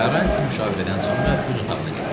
Karranti müşavirədən sonra öz otağına getdi.